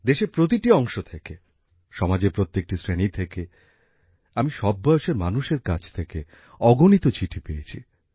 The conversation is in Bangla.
দেশের প্রতিটি অংশ থেকে সমাজের প্রত্যেকটি শ্রেণী থেকে আমি সব বয়সের মানুষের কাছ থেকে অগণিত চিঠি পেয়েছি